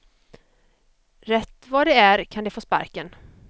Rätt vad det är kan de få sparken.